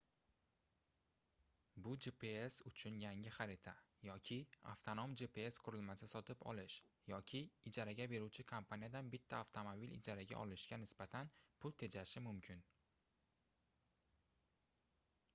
bu gps uchun yangi xarita yoki avtonom gps qurilmasi sotib olish yoki ijaraga beruvchi kompaniyadan bitta avtomobil ijaraga olishga nisbatan pul tejashi mumkin